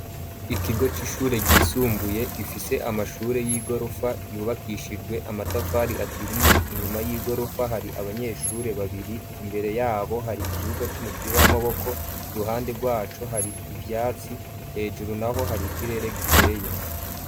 Ikigo c'ishure ryisumbuye, gifise amashure, y'igirofa, yubakishijwe amatafari aturiye, inyuma y'igorofa, hari abanyeshure babiri, imbere y'abo, hari ikibuga, c'umupira w'amaboko, iruhande rwaco, hari ivyatsi, hejuru naho, hari ikirere, gikeye.